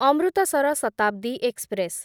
Amritsar Shatabdi express